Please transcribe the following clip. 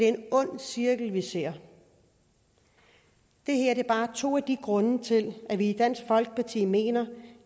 en ond cirkel vi ser det er bare to grunde til at vi i dansk folkeparti mener